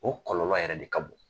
O kɔlɔlɔ yɛrɛ de ka bon.